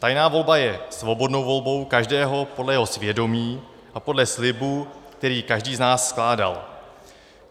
Tajná volba je svobodnou volbou každého podle jeho svědomí a podle slibu, který každý z nás skládal.